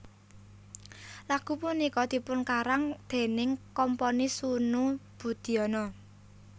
Lagu punika dipunkarang déning komponis Sunu Budiono